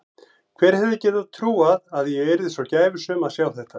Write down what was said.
Hver hefði getað trúað að ég yrði svo gæfusöm að sjá þetta.